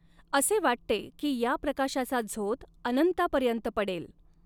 असे वाटते की या प्रकाशाचा झोत अनंतापर्यन्त पडेल.